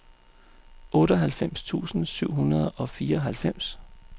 otteoghalvfems tusind syv hundrede og fireoghalvfems